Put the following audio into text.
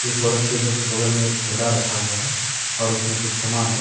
औरत के जस्ट बगल में एक थैला रखा हुआ है और उसमें कुछ सामान है।